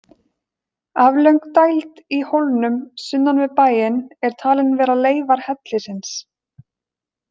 Aflöng dæld í hólnum sunnan við bæinn er talin vera leifar hellisins.